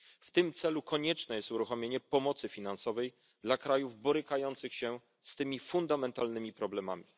W tym celu konieczne jest uruchomienie pomocy finansowej dla krajów borykających się z tymi fundamentalnymi problemami.